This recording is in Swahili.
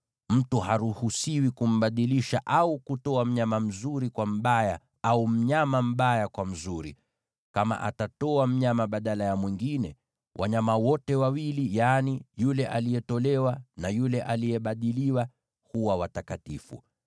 Mtu haruhusiwi kumbadilisha au kutoa mnyama mzuri kwa mbaya, au mnyama mbaya kwa mzuri. Kama atatoa mnyama badala ya mwingine, wanyama wote wawili, yaani yule aliyetolewa na yule aliyebadiliwa, ni watakatifu.